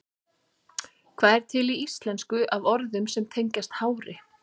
Hvað er til í íslensku af orðum sem tengjast hári?